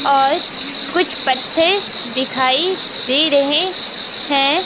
और कुछ पत्थर दिखाई दे रहे हैं।